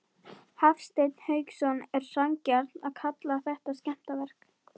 Hafsteinn Hauksson: Er sanngjarnt að kalla þetta skemmdarverk?